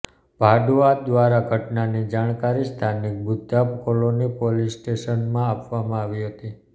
ભાડૂઆત દ્વારા ઘટનાની જાણકારી સ્થાનિક બુદ્ધા કોલોની પોલીસ સ્ટેશનમાં આપવામાં આવી હતી